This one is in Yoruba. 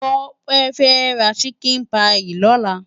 Tope fè rá ṣikin páyi lòlá